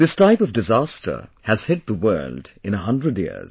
This type of disaster has hit the world in a hundred years